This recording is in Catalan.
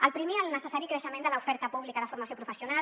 el primer el necessari creixement de l’oferta pública de formació professional